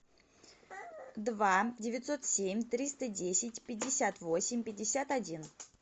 два девятьсот семь триста десять пятьдесят восемь пятьдесят один